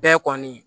Bɛɛ kɔni